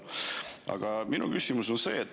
Aga minu küsimus on selline.